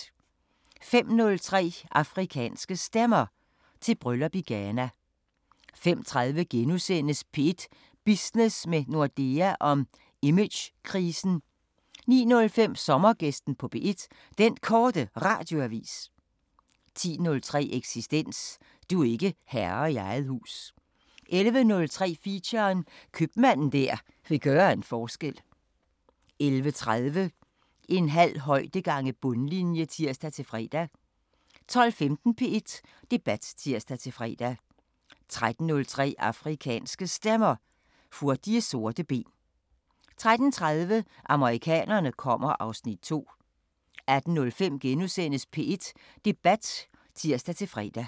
05:03: Afrikanske Stemmer: Til bryllup i Ghana 05:30: P1 Business med Nordea om imagekrisen * 09:05: Sommergæsten på P1: Den Korte Radioavis 10:03: Eksistens: Du er ikke herre i eget hus 11:03: Feature: Købmanden der vil gøre en forskel 11:30: En halv højde gange bundlinje (tir-fre) 12:15: P1 Debat (tir-fre) 13:03: Afrikanske Stemmer: Hurtige sorte ben 13:30: Amerikanerne kommer (Afs. 2) 18:05: P1 Debat *(tir-fre)